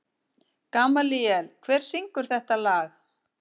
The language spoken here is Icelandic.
Gamalíel, hver syngur þetta lag?